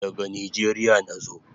Daga Nijeria nazo